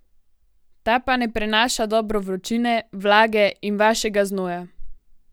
Ta pa ne prenaša dobro vročine, vlage in vašega znoja.